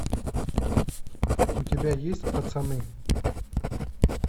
у тебя есть пацаны